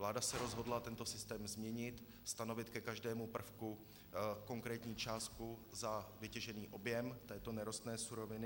Vláda se rozhodla tento systém změnit, stanovit ke každému prvku konkrétní částku za vytěžený objem této nerostné suroviny.